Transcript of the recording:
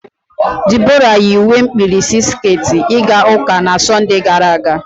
Debora yi uwe mkpirisi sket ịga ụka na Sọnde gara aga.